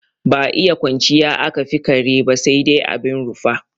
Ba iya kwanciya aka fi kare ba sai dai abin rufa.